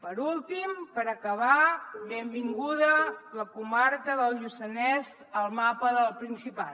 per últim per acabar benvinguda la comarca del lluçanès al mapa del principat